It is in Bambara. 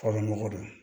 K'a dɔn ko don